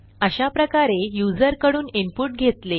अशाप्रकारे युजर कडून इनपुट घेतले